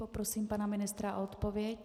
Poprosím pana ministra o odpověď.